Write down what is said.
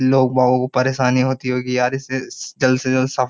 लोगों को परेशानी होती होगी यार इससे जल्द से जल्द सब --